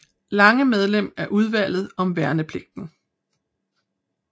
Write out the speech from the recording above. Lange medlem af Udvalget om værnepligten